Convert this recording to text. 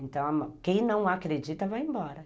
Então, quem não acredita vai embora.